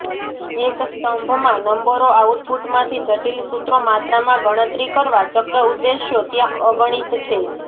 એક સ્તંભમાં નંબરો આઉટપુટ માંથી જટીલ સૂત્રો માત્રામાં ગણતરી કરવા ચક્ર ઉદ્દેશો ત્યાં અગણિત છે